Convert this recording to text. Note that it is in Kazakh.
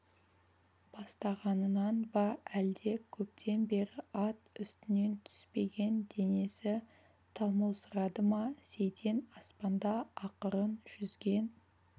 бастағанынан ба әлде көптен бері ат үстінен түспеген денесі талмаусырады ма сейтен аспанда ақырын жүзген